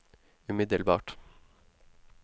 umiddelbart